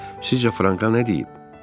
Sizcə Franka nə deyib?